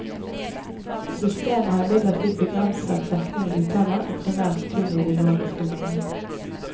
Systemet har imidlertid begrenset dekning i utlandet, og primært kun i de nordiske landene.